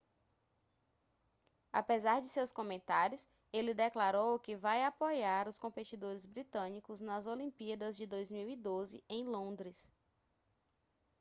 apesar de seus comentários ele declarou que vai apoiar os competidores britânicos nas olimpíadas de 2012 em londres